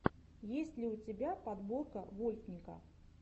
есть ли у тебя подборка вольтника